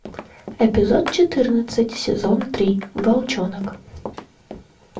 эпизод четырнадцать сезон три волчонок